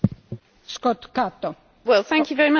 Thank you very much for that rather challenging question.